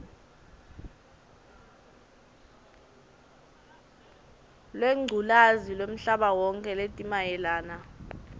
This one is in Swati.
lwengculazi lwemhlabawonkhe letimayelana